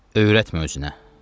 Öyrətmə özünə.